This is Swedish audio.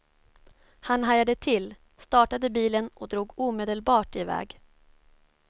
Han hajade till, startade bilen och drog omedelbart i väg.